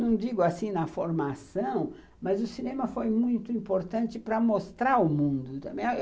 Não digo assim na formação, mas o cinema foi muito importante para mostrar o mundo também.